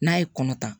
N'a ye kɔnɔ ta